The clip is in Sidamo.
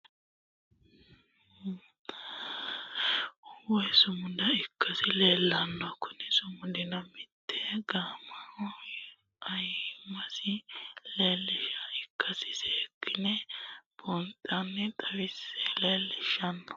Machaali lekkate kaasee gaamohha malate woyi sumudda ikkasi leellishano, kuni sumidino mite gaamohha ayiimasi leelishanoha ikkasi seekkinne buuxi'nsenna xawi'nse leellinshoonni